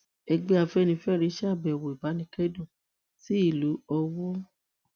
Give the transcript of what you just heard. ẹgbẹ afẹnifẹre ṣàbẹwò ìbánikẹdùn sí ìlú owó